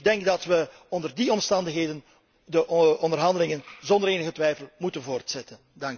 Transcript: Ik denk dat we onder die omstandigheden de onderhandelingen zonder enige twijfel moeten voortzetten.